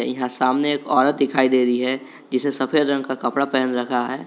यहां सामने एक औरत दिखाई दे रही है जिसे सफेद रंग का कपड़ा पहन रखा है।